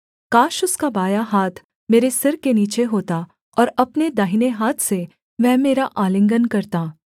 काश उसका बायाँ हाथ मेरे सिर के नीचे होता और अपने दाहिने हाथ से वह मेरा आलिंगन करता